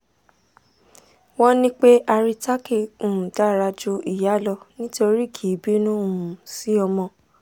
won ni pe haritaki um dara ju iya lo nitori ki i binu um si omo